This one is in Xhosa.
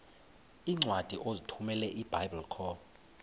iincwadi ozithumela ebiblecor